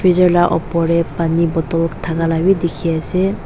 jar lah upar teh pani bottle thaka lah bhi dikhi ase.